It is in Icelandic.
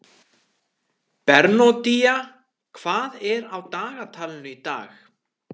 Bernódía, hvað er á dagatalinu í dag?